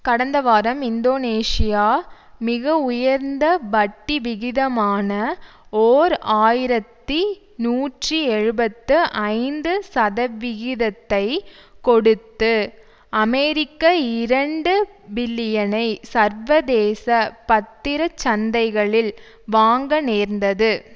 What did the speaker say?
கடந்த வாரம் இந்தோனேசியா மிக உயர்ந்த வட்டி விகிதமான ஓர் ஆயிரத்தி நூற்றி எழுபத்து ஐந்து சதவிகிதத்தை கொடுத்து அமெரிக்க இரண்டு பில்லியனை சர்வதேச பத்திர சந்தைகளில் வாங்க நேர்ந்தது